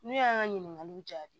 Ne y'an ka ɲininkaliw jaabi